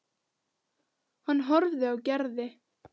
Hann horfði á Gerði.